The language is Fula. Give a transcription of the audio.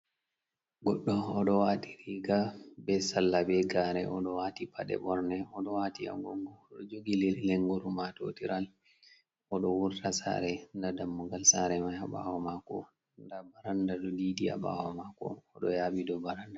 Goɗɗo oɗo wati riga, be salla, be gare. Oɗo wati paɗe ɓorne, oɗo wati a gogo jogi lengoru matotiral, oɗo wurta sare nda dammugal sare mai haɓawo mako, nda baranda ɗo didi ha ɓawo mako, oɗo yaɓi dow baranda.